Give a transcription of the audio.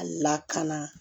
A lakana